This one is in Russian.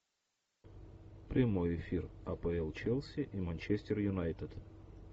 прямой эфир апл челси и манчестер юнайтед